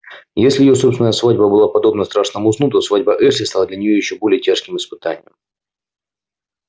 если её собственная свадьба была подобна страшному сну то свадьба эшли стала для неё ещё более тяжким испытанием